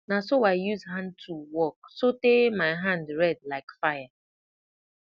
na so i use hand tool work sotay my hand red like fire